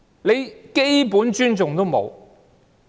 連基本的尊重也沒有。